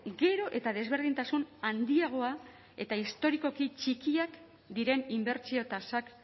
gero eta desberdintasun handiagoa eta historikoki txikiak diren inbertsio tasak